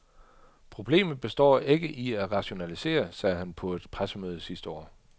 Problemet består ikke i at rationalisere, sagde han på et pressemøde sidste år.